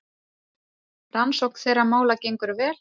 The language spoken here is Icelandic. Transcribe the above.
Rannsókn þeirra mála gengur vel.